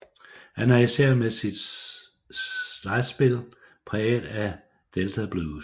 Han er især med sit slidespil præget af delta blues